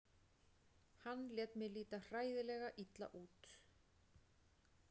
Hann lét mig líta hræðilega illa út.